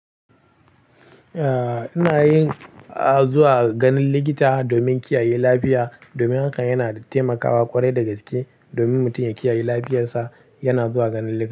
A ina yin zuwa ganin likita domin kiyaye lafiya. Domin hakan yana taimakawa ƙware da gaske. Domin mutum ya kiyaye lafiyarsa, yana zuwa ganin likita.